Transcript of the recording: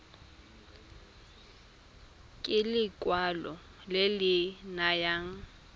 ke lekwalo le le nayang